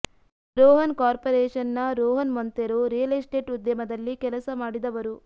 Rohan corporation ನ Rohan Monteiro real estate ಉದ್ಯಮದಲ್ಲಿ ಹೆಸರು ಮಾಡಿದವರು